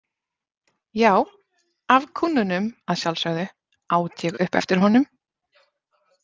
Já, af kúnnunum, að sjálfsögðu, át ég upp eftir honum.